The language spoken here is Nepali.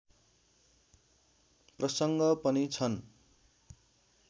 प्रसङ्ग पनि छन्